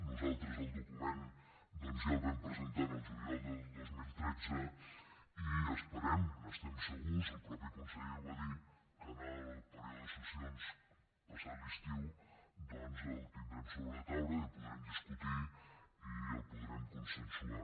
nosaltres el document ja el vam presentar el juliol de dos mil tretze i esperem n’estem segurs el mateix conseller ho va dir que en el període de sessions passat l’estiu el tindrem a sobre la taula i el podrem discutir i el podrem consensuar